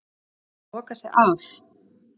Búin að loka sig af